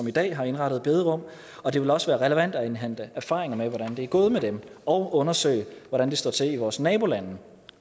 i dag har indrettet bederum og det vil også være relevant at indhente erfaringer med hvordan det er gået med dem og undersøge hvordan det står til i vores nabolande